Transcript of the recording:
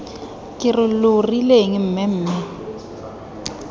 ke re lo rileng mmemme